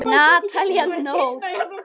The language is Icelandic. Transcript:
Natalía Nótt.